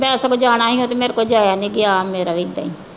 ਮੈਂ ਸਗੋਂ ਜਾਣਾ ਸੀ ਅੱਜ ਮੇਰੇ ਕੋਲੋਂ ਜਾਇਆ ਨਈਂ ਗਿਆ। ਮੇਰਾ ਵੀ ਏਦਾਂ ਈ।